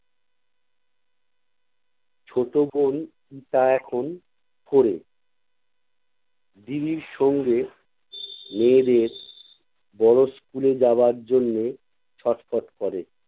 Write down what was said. ছোট বোন টা এখন four এ। দিদির সঙ্গে মেয়েদের বড় school এ যাবার জন্যে ছটফট করে